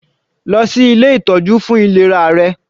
Lọ sí ilé ìtọ́jú fún ìlera rẹ.